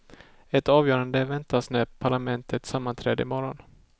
Ett avgörande väntas när parlamentet sammanträder i morgon.